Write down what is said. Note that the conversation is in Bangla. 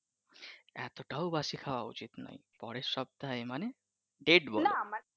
এতটাও বাসি খাওয়া উচিত নয় পরের সপ্তাহে মানে date বলো ?